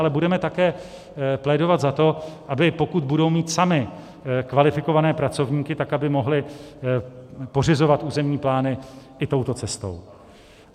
Ale budeme také plédovat za to, aby pokud budou mít samy kvalifikované pracovníky, tak aby mohly pořizovat územní plány i touto cestou.